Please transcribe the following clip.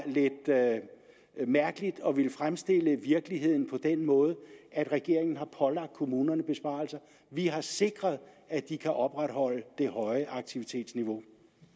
lidt mærkeligt at ville fremstille virkeligheden på den måde at regeringen har pålagt kommunerne besparelser vi har sikret at de kan opretholde det høje aktivitetsniveau